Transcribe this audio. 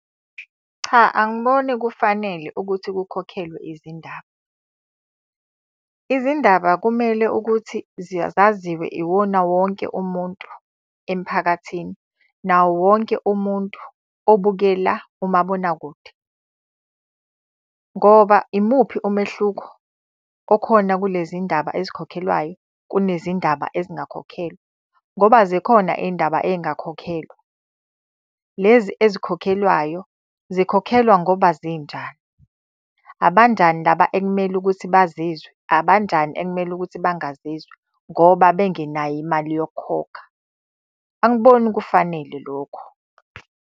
Cha angiboni kufanele ukuthi kukhokhelwe izindaba. Izindaba kumele ukuthi zaziwe iwona wonke umuntu emiphakathini, nawo wonke umuntu obukela umabonakude. Ngoba imuphi umehluko okhona kulezi ndaba ezikhokhelwayo kunezindaba ezingakhokhelwa? Ngoba zikhona iy'ndaba ey'ngakhokhelwa. Lezi ezikhokhelwayo zikhokhelwa ngoba zinjani? Abanjani laba ekumele ukuthi bazizwe, abanjani ekumele ukuthi bangazizwa ngoba bengenayo imali yokukhokha? Angiboni kufanele lokho.